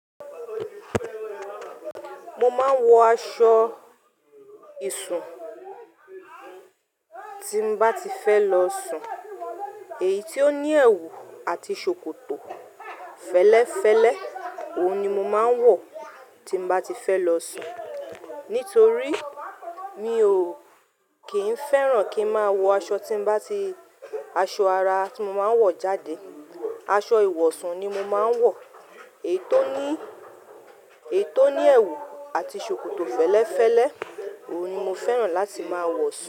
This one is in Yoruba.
Mo máa ń wọ aṣọ ìṣùn tí n bá ti fẹ́ lọ sùn èyí tó ní ẹwù àti ṣòkòtò fẹ́lẹ́fẹ́lẹ́. Òun ni mo máa ń wọ tí bá ti fẹ́ lọ sùn, nítorí mi ò kí ń fẹ́ràn kí máa wọ aṣọ tí bá ti-- aṣọ ara tí mo máa ń wọ jáde. Aṣọ ìwọ̀sun ni mo máa ń wọ èyí tó ní, èyí tó ní ẹwù àti ṣòkòtò fẹ́lẹ́fẹ́lẹ́. Òun ni mo fẹ́ràn láti máa wọ sùn.